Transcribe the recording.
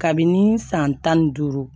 Kabini san tan ni duuru